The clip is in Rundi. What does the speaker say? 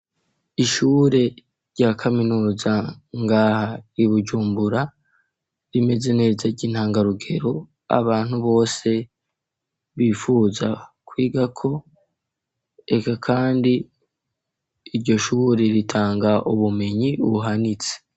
Ishure rya kaminuza ngaha Bujumbura rimeze neza ry'intangarugero abantu bose bifuza kwiga ko eka kandi iryo shure ritanga ubumenyi buhanitse.